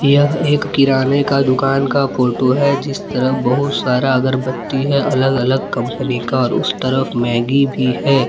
यह एक किराने का दुकान का फोटो है जिस तरह बहुत सारा अगरबत्ती है अलग अलग कंपनी का और उस तरफ मैगी भी है।